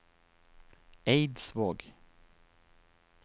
Eidsvåg